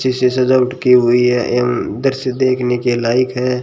अच्छे से सजावट की हुई है एवं दृश्य देखने के लायक है।